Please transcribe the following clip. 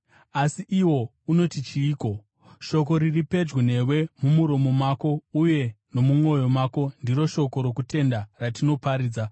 Asi iwo unoti chiiko? “Shoko riri pedyo newe, mumuromo mako uye nomumwoyo mako,” ndiro shoko rokutenda ratinoparidza: